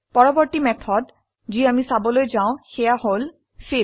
পৰবৰ্তী মেথড যি আমি চাবলৈ যাও সেয়া হল ফিল